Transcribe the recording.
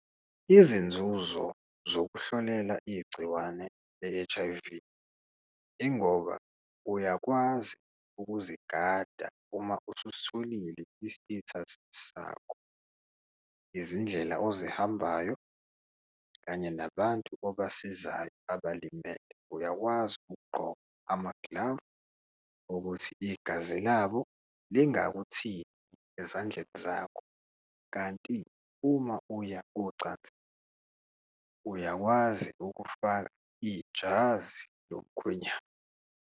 Izinzuzo zokuhlolela igciwane le-H_I_V ingoba uyakwazi ukuzigada uma ususitholile i-status sakho, izindlela ozihambayo kanye nabantu obasizayo abalimele, uyakwazi ukugqoka amagilavu ukuthi igazi labo lingakuthinti ezandleni zakho. Kanti uma uya ocansini, uyakwazi ukufaka ijazi lomkhwenyana.